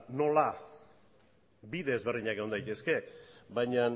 nola bide ezberdinak egon daitezke baina